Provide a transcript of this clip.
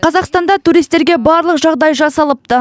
қазақстанда туристерге барлық жағдай жасалыпты